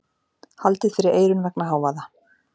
Haldið fyrir eyrun vegna hávaða.